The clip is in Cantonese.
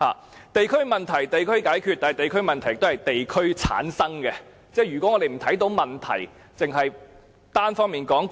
是的，"地區問題，地區解決"，但別忘記地區問題也是由地區產生，如果我們不看問題，而只是單方面說擴權......